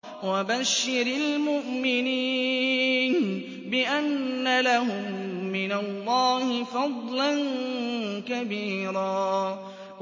وَبَشِّرِ الْمُؤْمِنِينَ بِأَنَّ لَهُم مِّنَ اللَّهِ فَضْلًا كَبِيرًا